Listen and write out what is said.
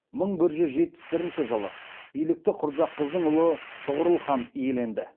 мың бір жүз жетпіс бірінші жылы билікті құрджақыздың ұлы тұғырыл хан иеленді